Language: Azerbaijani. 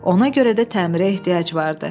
Ona görə də təmirə ehtiyac vardı.